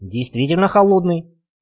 действительно холодный